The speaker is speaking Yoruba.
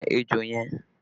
Pa ejò yẹn!